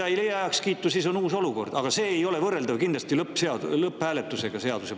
Ja kui see ei leia heakskiitu, siis on uus olukord, aga see ei ole kindlasti võrreldav seaduseelnõu lõpphääletusega.